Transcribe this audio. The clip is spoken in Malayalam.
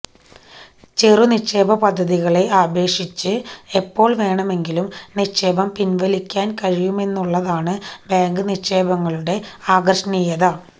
ചെറു നിക്ഷേപ പദ്ധതികളെ അപേക്ഷിച്ച് എപ്പോള് വേണമെങ്കിലും നിക്ഷേപം പിന്വലിക്കാന് കഴിയുമെന്നുള്ളതാണ് ബാങ്ക് നിക്ഷേപങ്ങളുടെ ആകര്ഷണീയത